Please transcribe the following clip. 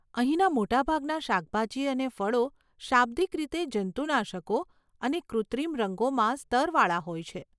અહીંના મોટાભાગના શાકભાજી અને ફળો શાબ્દિક રીતે જંતુનાશકો અને કૃત્રિમ રંગોમાં સ્તરવાળા હોય છે.